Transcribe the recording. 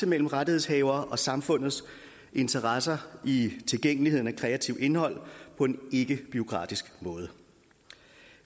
mellem rettighedshaveres og samfundets interesser i tilgængeligheden af kreativt indhold på en ikkebureaukratisk måde